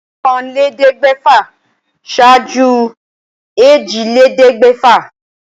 Ọ̀kànléléèẹ́dẹ́gbẹ̀fà ṣaájú èjìlélẹ́ẹ̀ẹ́dẹ́. gbẹ̀fà